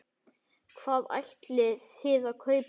Hvað ætlið þið að kaupa?